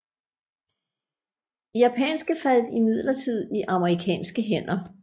De japanske faldt imidlertid i amerikanske hænder